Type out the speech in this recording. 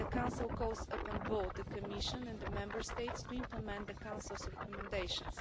The Council calls upon both the Commission and the Member States to implement the Council's recommendations.